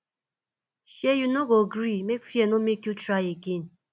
shee you no go gree make fear make you no try again